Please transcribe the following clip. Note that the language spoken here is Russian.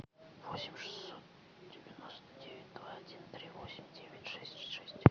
восемь шестьсот девяносто девять два один три восемь девять шесть шесть